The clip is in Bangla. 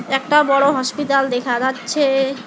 একটা বড়ো হসপিটাল দেখা যাচ্ছে।